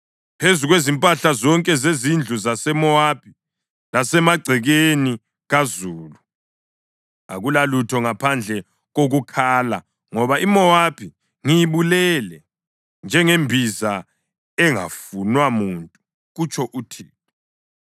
Phezu kwezimpahla zonke zezindlu zaseMowabi lasemagcekeni kazulu, akulalutho ngaphandle kokukhala, ngoba iMowabi ngiyibulele njengembiza engafunwa muntu,” kutsho uThixo.